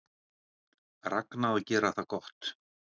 Ragna að gera það gott